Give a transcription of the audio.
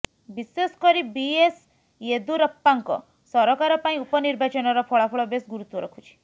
ବିଶେଷ କରି B S ୟେଦୁରାପ୍ପାଙ୍କ ସରକାର ପାଇଁ ଉପନିର୍ବାଚନର ଫଳାଫଳ ବେଶ୍ ଗୁରୁତ୍ବ ରଖୁଛି